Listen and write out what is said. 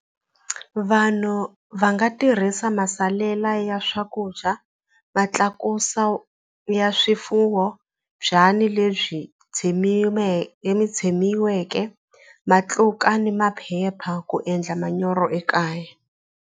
Vanhu va nga tirhisa masalela ya swakudya ma tlakusa ya swifuwo byanyi lebyi tshemiweke matluka ni maphepha ku endla manyoro ekaya.